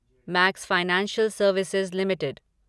max financial services limited